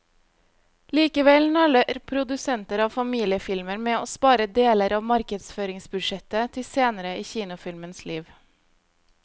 Likevel nøler produsenter av familiefilmer med å spare deler av markedsføringsbudsjettet til senere i kinofilmens liv.